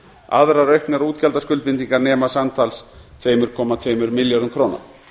aðrar auknar útgjaldaskuldbindingar nema samtals tvö komma tvö milljörðum króna